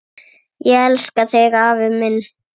Ég elska þig afi minn.